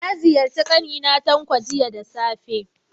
Na ziyarci ƙani na mai suna Tanko, jiya da safe.